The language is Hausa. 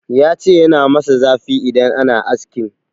Ya ce yana masa zafi idan ana askin.